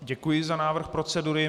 Děkuji za návrh procedury.